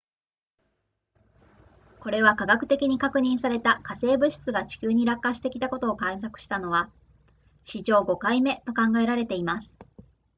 これは化学的に確認された火星物質が地球に落下してきたことを観測したのは史上5回目と考えられています